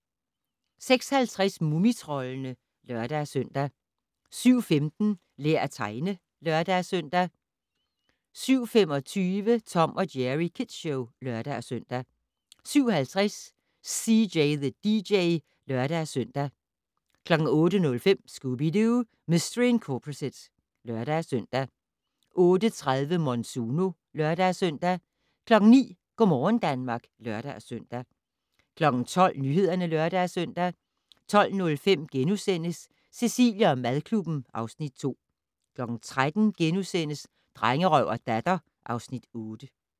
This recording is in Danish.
06:50: Mumitroldene (lør-søn) 07:15: Lær at tegne (lør-søn) 07:25: Tom & Jerry Kids Show (lør-søn) 07:50: CJ the DJ (lør-søn) 08:05: Scooby-Doo! Mistery Incorporated (lør-søn) 08:30: Monsuno (lør-søn) 09:00: Go' morgen Danmark (lør-søn) 12:00: Nyhederne (lør-søn) 12:05: Cecilie & madklubben (Afs. 2)* 13:00: Drengerøv og Datter (Afs. 8)*